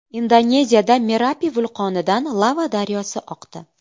Indoneziyada Merapi vulqonidan lava daryosi oqdi .